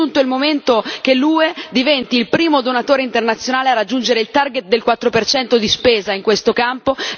È giunto il momento che l'UE diventi il primo donatore internazionale a raggiungere il target del 4 di spesa in questo campo.